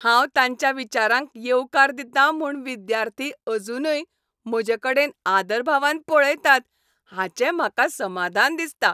हांव तांच्या विचारांक येवकार दितां म्हूण विद्यार्थी अजूनय म्हजेकडेन आदरभावान पळयतात हाचें म्हाका समाधान दिसता.